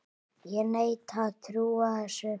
Ég neita að trúa þessu!